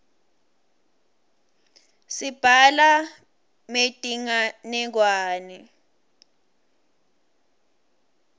sibhala metinganekwane